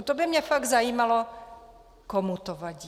A to by mě fakt zajímalo, komu to vadí.